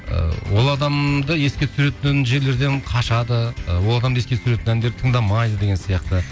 ыыы ол адамды еске түсіретін жерлерден қашады ы ол адамды еске түсіретін әндерді тыңдамайды деген сияқты